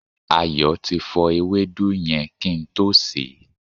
Ayo ti fọ ewédú yẹn kí n tó sè é